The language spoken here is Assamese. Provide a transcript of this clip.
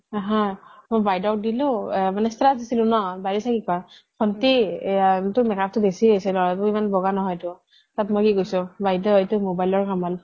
মই বাইদেউক দিলোঁ status দিছিলোঁ ন বাইদেউ চাই কি কয় ভন্টি টোৰ make-up বেছি হৈছে লৰা টো ইমান বগা নহয় টো এইটো mobile ৰ কামাল